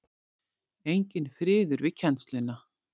Enginn friður við kennsluna.